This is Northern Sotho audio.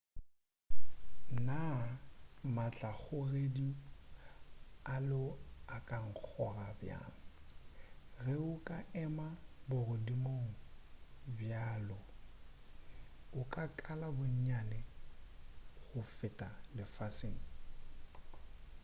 naa maatlakgogedi a lo a ka nkgoga bjang ge o ka ema bogodimong bja lo o ka kala bonnyane go feta lefaseng